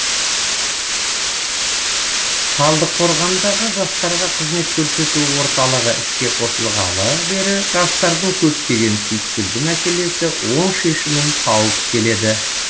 талдықорғандағы жастарға қызмет көрсету орталығы іске қосылғалы бері жастардың көптеген түйткілді мәселесі оң шешімін тауып келеді